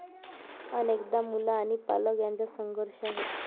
अनेकदा मूल आणि पालक यांच्यात संघर्ष आहे.